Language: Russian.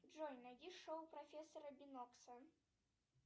джой найди шоу профессора бинокса